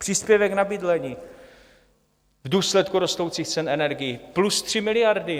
Příspěvek na bydlení v důsledku rostoucích cen energií - plus 3 miliardy.